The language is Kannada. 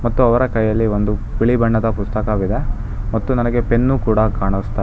ತು ಅವರ ಕೈಯಲ್ಲಿ ಒಂದು ಬಿಳಿ ಬಣ್ಣದ ಪುಸ್ತಕವಿದೆ ಮತ್ತು ನನಗೆ ಪೆನ್ ಕೂಡ ಕಾಣಿಸ್ತಾ ಇ--